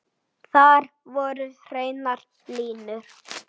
Svona huglægt séð.